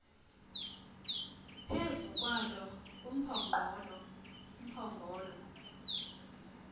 phezu kwalo umphongolo